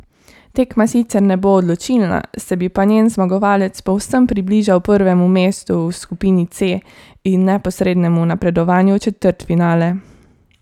Tekma sicer ne bo odločilna, se bi pa njen zmagovalec povsem približal prvemu mestu v skupini C in neposrednemu napredovanju v četrtfinale.